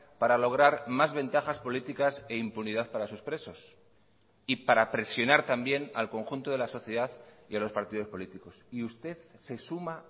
para lograr más ventajas políticas e impunidad para sus presos y para presionar también al conjunto de la sociedad y a los partidos políticos y usted se suma